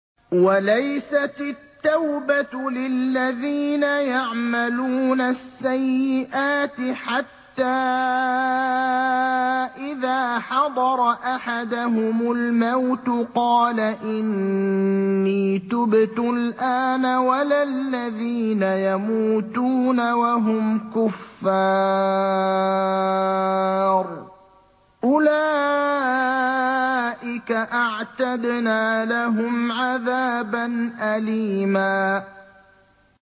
وَلَيْسَتِ التَّوْبَةُ لِلَّذِينَ يَعْمَلُونَ السَّيِّئَاتِ حَتَّىٰ إِذَا حَضَرَ أَحَدَهُمُ الْمَوْتُ قَالَ إِنِّي تُبْتُ الْآنَ وَلَا الَّذِينَ يَمُوتُونَ وَهُمْ كُفَّارٌ ۚ أُولَٰئِكَ أَعْتَدْنَا لَهُمْ عَذَابًا أَلِيمًا